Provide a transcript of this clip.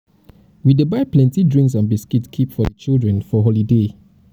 we dey buy plenty drinks and biscuits keep for di children for holiday.